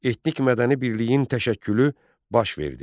Etnik mədəni birliyin təşəkkülü baş verdi.